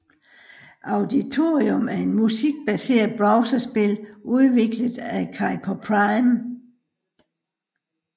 Auditorium er et musikbaseret browserspil udviklet af Cipher Prime